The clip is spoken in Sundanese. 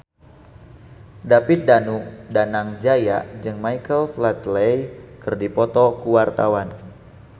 David Danu Danangjaya jeung Michael Flatley keur dipoto ku wartawan